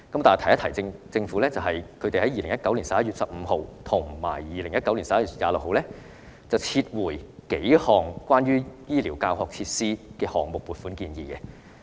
但是，政府在2019年11月15日和11月26日撤回數項關於醫療教學設施項目的撥款建議。